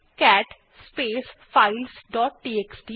cat space files dot TXT